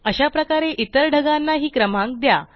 अशाप्रकारे इतर ढगांना हि क्रमांक द्या